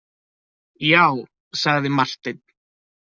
Já, sagði Marteinn.